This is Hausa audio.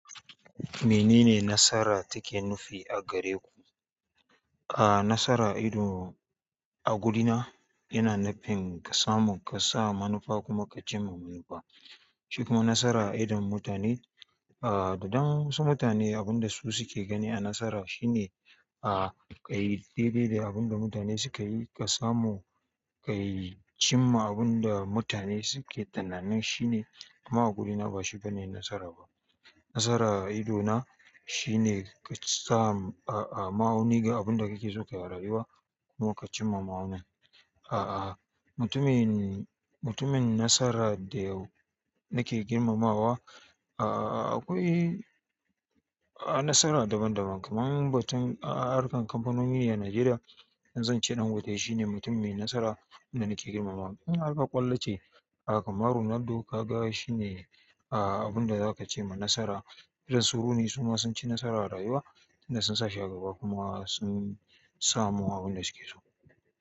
Menene nasara take nufi a gare ku? Aaa, nasara ido a gurina yana nufin ka samu, ka sa manufa kuma ka cimma manufa. Shikuma nasara a idon mutane, aa dadama wa ensu mutane abin da su suke gani a nasara shine aa kayi daidai da abin da mutane suka yi, ka samu, ka cimma abin da mutane suke tunanin shine amma a gudina bashi bane nasara ba. Nasara ido na shine ka samu a a ma'auni ga abin da kake so ka rayuwa kuma ka cimma ma'aunin. A'a, mutumin, mutumin nasara da yau nake girmamawa, a'a akwai a'a nasara daban daban kaman batun a'a harkan kamfanone a Najeriya. Zan ce Dangate shine mutum mai nasara da nake girmamawa. In har kar ƙwallo ce, a'a kamar Ronaldo ka ga shine a'a abin da zaka ce ma nasara. Irin su Rooney su ma sun ci nasara a rayuwa, tunda sun sa shi a gaba kuma sun samu abin da suke so.